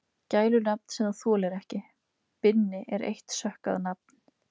Gælunafn sem þú þolir ekki: Binni er eitt sökkað nafn